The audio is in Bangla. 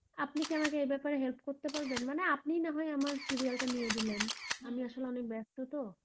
আপনি কি এ ব্যাপারে help আমাকে করতে পারবেন মানে আপনি না হয় আমার serial টা দিয়ে দিলেন আমি আসলে অনেক ব্যস্ত তো,